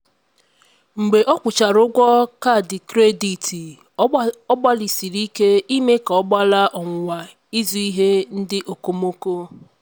mgbe ọ kwụchara ụgwọ kaadị kredit ọ gbalịsiri ike ime ka ọ gbalaa ọnwụnwa ịzụ ihe ndị okomoko.